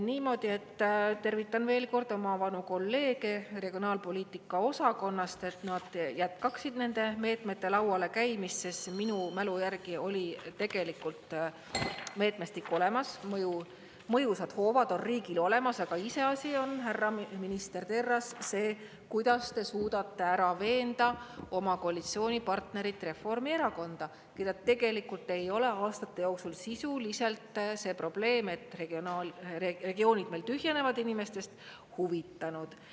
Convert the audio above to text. Niimoodi, et tervitan veel kord oma vanu kolleege regionaalpoliitika osakonnast, et nad jätkaksid nende meetmete lauale käimist, sest minu mälu järgi oli tegelikult meetmestik olemas, mõjusad hoovad on riigil olemas, aga iseasi on, härra minister Terras, see, kuidas te suudate ära veenda oma koalitsioonipartnerit, Reformierakonda, keda tegelikult ei ole aastate jooksul sisuliselt see probleem, et regioonid meil tühjenevad inimestest, huvitanud.